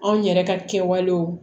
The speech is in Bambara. Anw yɛrɛ ka kɛwalew